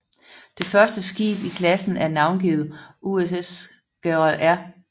Det første skib i klassen er navngivet USS Gerald R